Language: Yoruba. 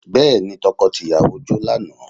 Bẹ́ẹ̀ni, tọkọ tìyàwó jó lánàá